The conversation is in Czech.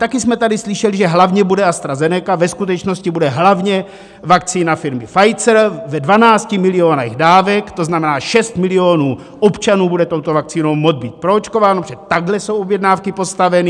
Taky jsme tady slyšeli, že hlavně bude AstraZeneca, ve skutečnosti bude hlavně vakcína firmy Pfizer ve 12 milionech dávek, to znamená 6 milionů občanů bude touto vakcínou moct být proočkováno, protože takhle jsou objednávky postaveny.